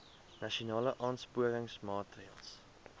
nasionale aansporingsmaatre ls